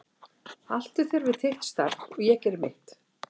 Haltu þér við þitt starf og ég geri mitt.